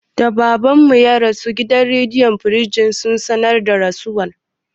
Da Baban mu ya rasu, gidan rediyo firistij sun sanar da rasuwar.